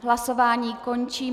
Hlasování končím.